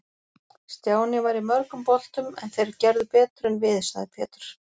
Stjáni var í mörgum boltum en þeir gerðu betur en við, sagði Pétur.